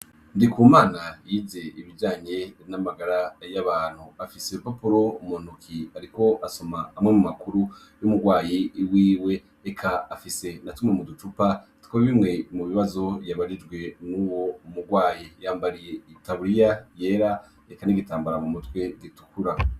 Ndi ku mana yize ibiyanye n'amagara y'abantu afise lupapuro umuntuki, ariko asoma amwe mu makuru y'umurwayi i wiwe eka afise na tumwe mu ducupa two bimwe mu bibazo yabarijwe n'uwo murwayi yambariye i taburiya yera eka n'igitambara mu mutwe ditukura.